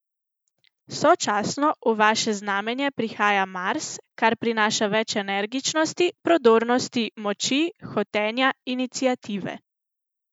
Sočasno v vaše znamenje prihaja Mars, kar prinaša več energičnosti, prodornosti, moči, hotenja, iniciative.